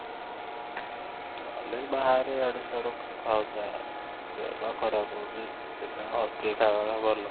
ହେଲେ ବି ବାହାରେ ଇଆଡୁ ସିଆଡ଼ୁ ଖାଉଥାଏ ଆଉ ଦେହ ପା ଖରାପ ହଉଛି ସେଥିପାଇଁ hostel ଖାଇବା ଭଲ